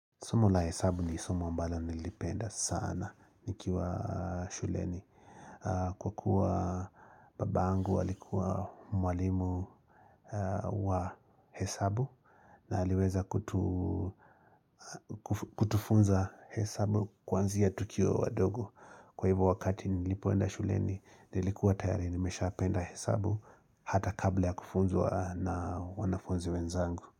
Somo la hesabu ni somo ambalo nilipenda sana nikiwa shuleni. Kwa kuwa baba yangu alikuwa mwalimu wa hesabu na aliweza kutufunza hesabu kwanzia tukiwa wadogo. Kwa hivyo wakati nilipoenda shuleni, nilikuwa tayari nimeshapenda hesabu hata kabla ya kufunza na wanafunzi wenzangu.